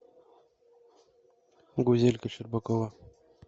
гузелька щербакова